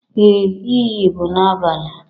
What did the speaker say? Ee, iyi bụ n'abalị